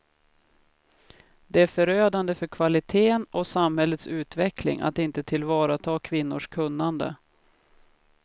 Det är förödande för kvaliteten och samhällets utveckling att inte tillvarata kvinnors kunnande.